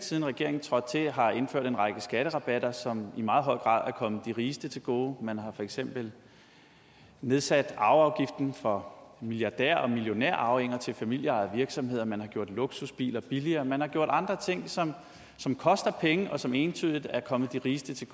siden regeringen trådte til konsekvent har indført en række skatterabatter som i meget høj grad er kommet de rigeste til gode man har for eksempel nedsat arveafgiften for milliardær og millionærarvinger til familieejede virksomheder man har gjort luksusbiler billigere og man har gjort andre ting som som koster penge og som entydigt er kommet de rigeste til